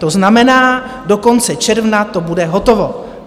To znamená, do konce června to bude hotovo.